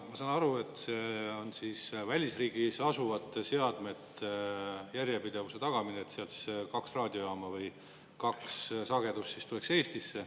Ma saan aru, et see on välisriigis asuvate seadmete järjepidevuse tagamine, et sealt kaks raadiojaama sagedust tuleks Eestisse.